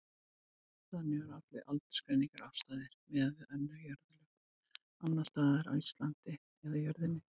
Þannig voru allar aldursgreiningar afstæðar miðað við önnur jarðlög, annars staðar á Íslandi eða jörðinni.